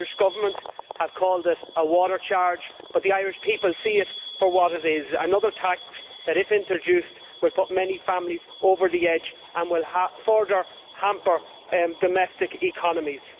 The Irish Government has called it a water charge, but the Irish people see it for what it is another tax which, if introduced, would put many families over the edge and would further hamper domestic economies.